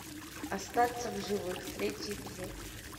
остаться в живых третий эпизод